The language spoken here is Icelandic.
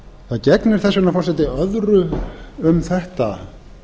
það gegnir þess vegna forseti öðru um þetta